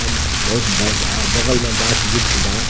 अब बहुत बड़ अ बगल में गाछ-बृक्ष बा।